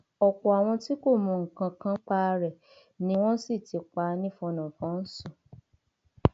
ọpọ àwọn tí kò mọ nǹkan kan nípa rẹ ni wọn sì ti pa nífọnàfọńsù